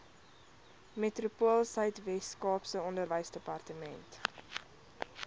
metropoolsuid weskaap onderwysdepartement